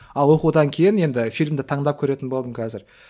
а оқудан кейін енді фильмді таңдап көретін болдым қазір